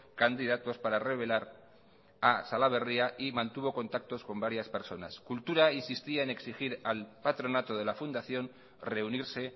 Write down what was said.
candidatos para revelar a salaberria y mantuvo contactos con varias personas cultura insistía en exigir al patronato de la fundación reunirse